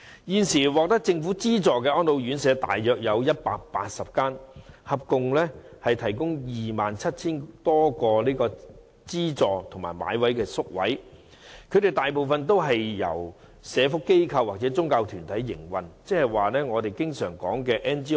現時獲政府資助的安老院舍大約有180間，合共提供 27,000 多個資助及購買的宿位，當中大部分也是由社福機構或宗教團體營運，即我們經常說的 NGO。